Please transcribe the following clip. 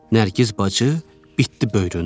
Nərgiz bacı bitdi böyründə.